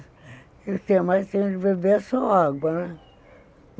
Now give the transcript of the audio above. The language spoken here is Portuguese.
O que eu mais tenho de beber é só água, né?